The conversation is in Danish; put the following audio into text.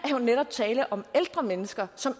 jo netop tale om ældre mennesker som